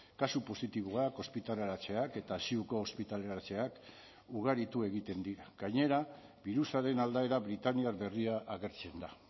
kasu positiboak ospitaleratzeak eta ziuko ospitaleratzeak ugaritu egiten dira gainera birusaren aldaera britaniar berria agertzen da